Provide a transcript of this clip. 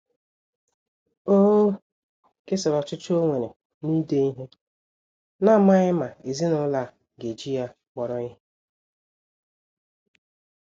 O kesara ọchịchọ ọ nwere na-ide ihe, n'amaghi ma ezinụlọ a ga-eji ya kpọrọ ihe.